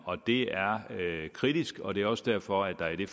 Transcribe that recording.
og det er kritisk og det er også derfor at der i